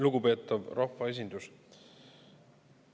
Lugupeetav rahvaesindus!